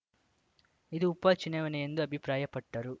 ಇದು ಉಪ ಚುನಾವಣೆ ಎಂದು ಅಭಿಪ್ರಾಯಪಟ್ಟರು